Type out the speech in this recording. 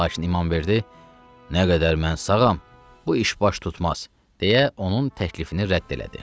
Lakin İmamverdi: "Nə qədər mən sağam, bu iş baş tutmaz", deyə onun təklifini rədd elədi.